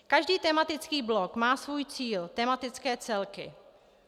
Každý tematický blok má svůj cíl, tematické celky.